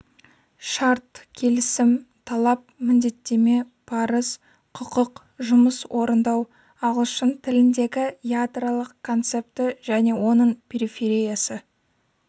шарт келісім талап міндеттеме парыз құқық жұмыс орындау ағылшын тіліндегі ядролық концепті және оның перифериясы